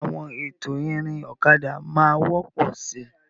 Ǹjẹ́ àwọn ètò ìrìn ọ̀kadà máa wọ́pọ̀ síi?